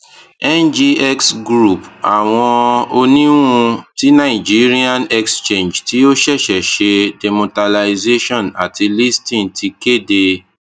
ngx group awọn oniwun ti nigerian exchange ti o ṣẹṣẹ ṣe demutualization ati listing ti kede